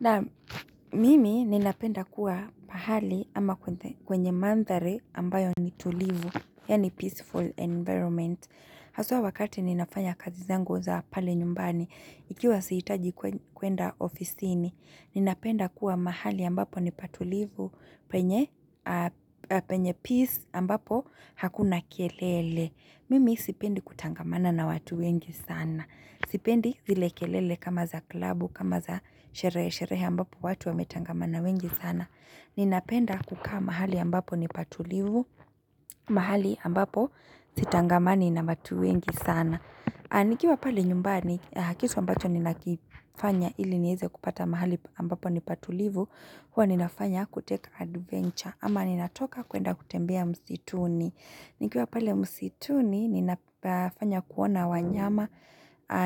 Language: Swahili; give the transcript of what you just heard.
Naam mimi ninapenda kuwa pahali ama kwenye mandhari ambayo ni tulivu, yaani peaceful environment. Haswa wakati ninafanya kazi zangu za pale nyumbani, ikiwa sihitaji kuenda ofisini, ninapenda kuwa mahali ambapo ni patulivu penye peace ambapo hakuna kelele. Mimi sipendi kutangamana na watu wengi sana. Sipendi zile kelele kama za klabu kama za sherehe sherehe ambapo watu wametangamana wengi sana Ninapenda kukaa mahali ambapo nipatulivu, mahali ambapo sitangamani na watu wengi sana nikiwa pale nyumbani kitu ambacho ninakifanya ili nieze kupata mahali ambapo nipatulivu Huwa ninafanya kutake adventure ama ninatoka kuenda kutembea msituni nikiwa pale msituni ninafanya kuona wanyama